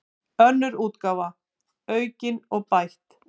Önnur útgáfa, aukin og bætt.